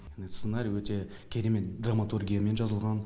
сценарий өте керемет драматургиямен жазылған